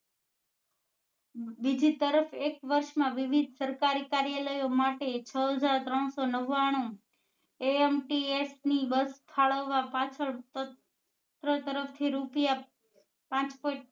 બીજી તરફ એક વર્ષ માં વિવિધ સરકારી કાર્યાલયો માટે છ હજાર ત્રણસો નવ્વાણું ants ની બસ ફાળવવા પાછળ તંત્ર તરફ થી રૂપિયા પાંચ point